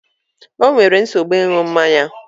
O nwere nsogbu ịṅụ mmanya